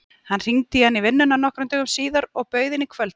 Hann hringdi í hana í vinnuna nokkrum dögum síðar og bauð henni í kvöldmat.